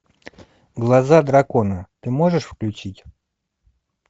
глаза дракона ты можешь включить